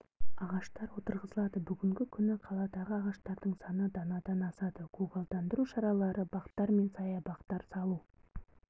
ағаштар отырғызылады бүгінгі күні қаладағы ағаштардың саны данадан асады көгалдандыру шаралары бақтар мен саябақтар салу